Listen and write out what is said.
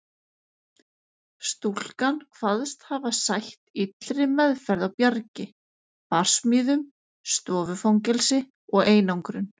Stúlkan kvaðst hafa sætt illri meðferð á Bjargi, barsmíðum, stofufangelsi og einangrun.